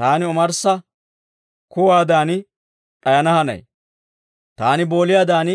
Taani omarssa kuwaadan d'ayana hanay; taani booliyaadan